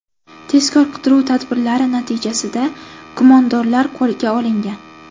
Tezkor-qidiruv tadbirlari natijasida gumondorlar qo‘lga olingan.